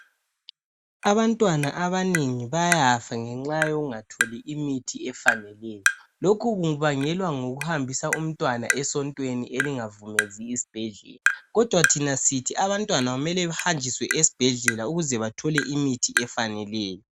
Abantwana abanengi bayafa ngenxa yokungatholi imithi efaneleyo, lokhu kubangela ngokuhambisa umntwana esontweni elingavumezi isibhedlela kodwa thina sithi abantwana kumele behanjiswe esibhedlela ukuze bethole imithi efaneleyo.